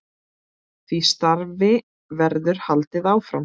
Því starfi verður haldið áfram.